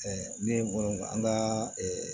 ne bolo an ka